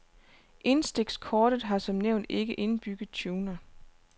Indstikskortet har som nævnt ikke indbygget tuner.